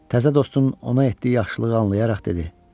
Təzə dostum ona etdiyi yaxşılığı anlayaraq dedi: